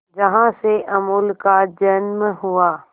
जहां से अमूल का जन्म हुआ